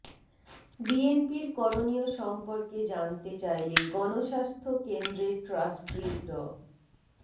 বিএনপির করণীয় সম্পর্কে জানতে চাইলে গণস্বাস্থ্য কেন্দ্রের ট্রাস্ট্রি ড